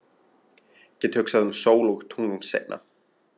Get hugsað um sól og tungl seinna.